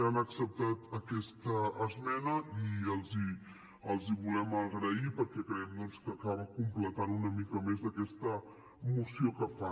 han acceptat aquesta esmena i els ho volem agrair perquè creiem que acaba completant doncs una mica més aquesta moció que fan